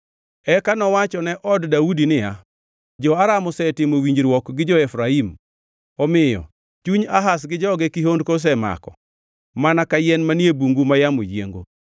Eka nowach ne od Daudi niya, “Jo-Aram osetimo winjruok gi jo-Efraim,” omiyo chuny Ahaz gi joge kihondko osemako, mana ka yien manie bungu ma yamo yiengo.